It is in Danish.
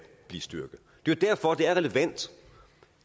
blive styrket det er derfor det er relevant